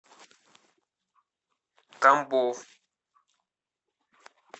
тамбов